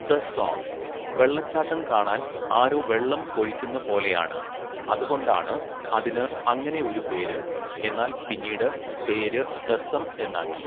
The സോങ്, വെള്ളച്ചാട്ടം കാണാൻ ആരോ വെള്ളം ഒഴിക്കുന്ന പോലെയാണ് ,അത് കൊണ്ടാണ് അതിനു അങ്ങനെ ഒരു പേര് എന്നാൽ പിന്നീട് പേര് ദസ്സം എന്നാക്കി.